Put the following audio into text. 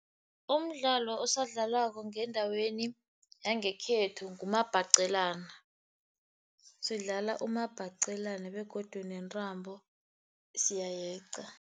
Umdlalo osadlalwako ngendaweni yangekhethu ngumabhaqelana, sidlala umabhaqelana begodu nentambo siyayeqa.